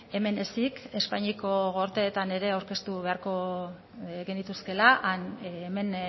hemen ezik espainiako gorteetan ere aurkeztu beharko genituzkeela han hemen